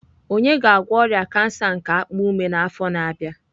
Onye ga-agwọ ọrịa kansa nke akpa ume n'afọ na-abịa.